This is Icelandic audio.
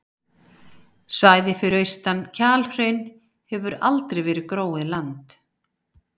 Svæðið fyrir austan Kjalhraun hefur aldrei verið gróið land.